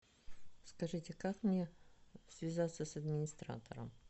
скажите как мне связаться с администратором